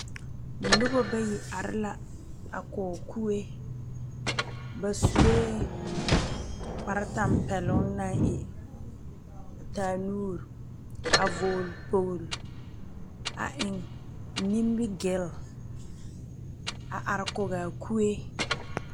Nobo bayi are la a kɔ kueɛ. Ba sue kpar tampɛlung a e taa nuuro. A vogle kpoglo a eŋ nimigil a are kɔge a kue